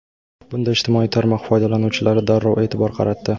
Bunga ijtimoiy tarmoq foydalanuvchilari darrov e’tibor qaratdi.